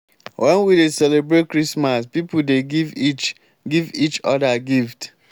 wen we dey celebrate christmas pipo dey give each give each odir gift.